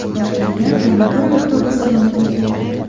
Toshkentda yana bir avtobus yonib ketdi.